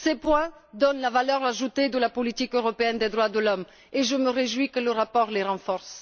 Ces points donnent sa valeur ajoutée à la politique européenne des droits de l'homme et je me réjouis que le rapport les renforce.